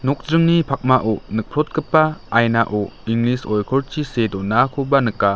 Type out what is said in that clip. okdringni pakmao nikprotgipa ainao inglis oikorchi see donakoba nika.